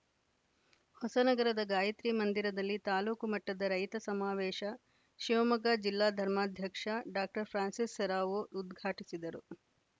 ಹೊಸ ನಗರದ ಗಾಯತ್ರಿ ಮಂದಿರದಲ್ಲಿ ತಾಲೂಕು ಮಟ್ಟದ ರೈತ ಸಮಾವೇಶ ಶಿವಮೊಗ್ಗ ಜಿಲ್ಲಾ ಧರ್ಮಾಧ್ಯಕ್ಷ ಡಾಕ್ಟರ್ ಫ್ರಾನ್ಸಿಸ್‌ ಸೆರಾವೊ ಉದ್ಘಾಟಿಸಿದರು